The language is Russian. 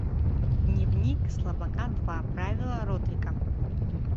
дневник слабака два правила родрика